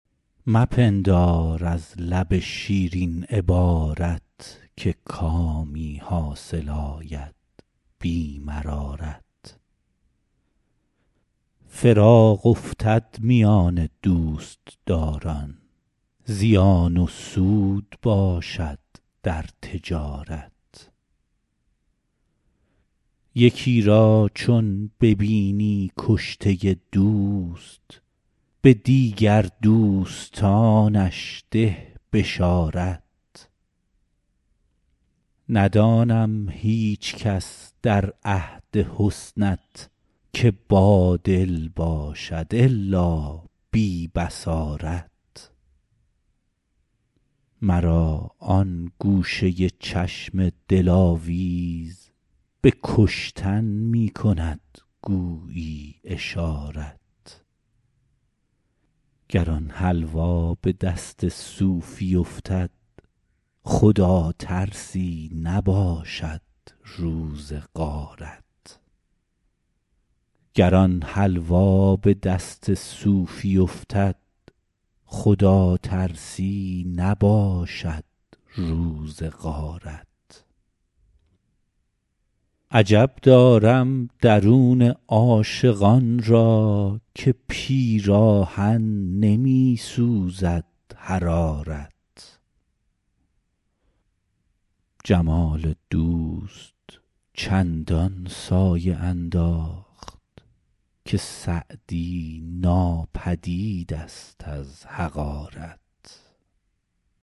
مپندار از لب شیرین عبارت که کامی حاصل آید بی مرارت فراق افتد میان دوستداران زیان و سود باشد در تجارت یکی را چون ببینی کشته دوست به دیگر دوستانش ده بشارت ندانم هیچکس در عهد حسنت که بادل باشد الا بی بصارت مرا آن گوشه چشم دلاویز به کشتن می کند گویی اشارت گر آن حلوا به دست صوفی افتد خداترسی نباشد روز غارت عجب دارم درون عاشقان را که پیراهن نمی سوزد حرارت جمال دوست چندان سایه انداخت که سعدی ناپدید ست از حقارت